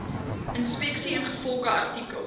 inspeksie ingevolge artikel